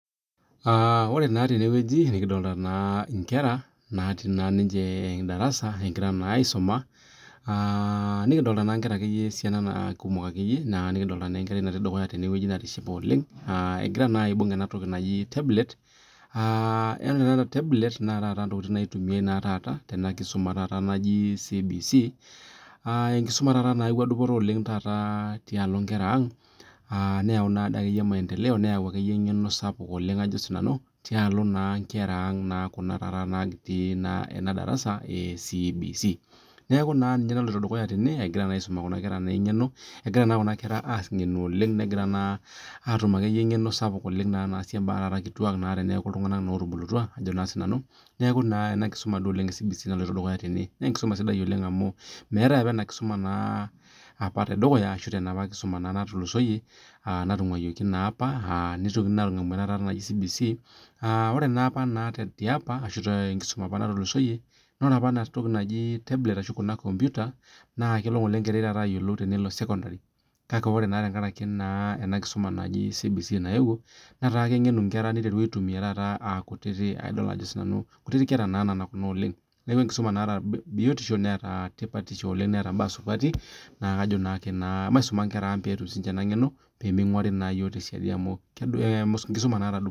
Ore naa tenewueji nikidolita enkera natii darasa egira aisuma nikidolita naa enkera esiana naa kumok akeyie nikidolita naa enkerai natii dukuya tenewueji natishipe oleng egira naa aibug ena toki najii tablet ore naa tablet naa ntokitin taata naitumiai Tena kisuma najii CBC enkisuma nayawua dupoto oleng taata tialo nkera ang neyawua akeyie maendeleo neyawua akeyie eng'eno sapuk tialo nkera ang natii ena darasa ee CBC neeku ninye naloito dukuya tene egirai naa aisum Kun kera eng'eno egira naa Kuna kera ang'enu oleng negira atum akeyieyie eng'eno sapuk oleng naasie mbaa kituak tenekuu iltung'ana otubulutua neeku ena kisuma ee CBC naloito dukuya tene naa [ s]enkisuma sidai oleng amu meetae apa ena kisuma tedukuya ashu tenapa kisuma natulusoyie natunguayioki naa apa neitokini atum ena naaji CBC ore naa apa tenkisuma natulusoyie na ore apa ena toki najii tablet ahh Kuna kompita naa kelo enkerai ayiolou tenelo sekondari kake ore tenkaraki ena kisuma najii CBC nayewuo netaa kengenu enkera nesioki aitumia aa kutiti kera na nana Kuna oleng neeku enkisuma nataa tipat netaa biotisho netaa mbaa supati neeku kajo maisuma Nkera ang pee etum ninche enangeno pee minguarii iyiok tesiadii amu enkisuma nataa dupoto